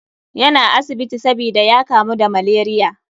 Yana asibiti sabida ya kamu da malaria.